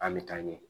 An bɛ taa ɲɛ